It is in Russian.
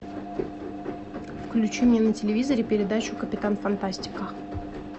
включи мне на телевизоре передачу капитан фантастика